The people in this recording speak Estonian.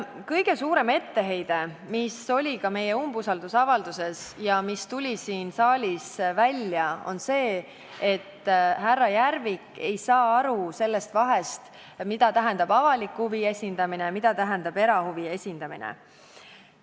Kõige suurem etteheide, mis oli ka meie umbusaldusavalduses ja mis tuli siin saalis välja, on see, et härra Järvik ei saa aru sellest vahest, mida tähendab avaliku huvi esindamine ja mida tähendab erahuvi esindamine.